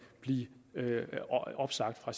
blive opsagt fra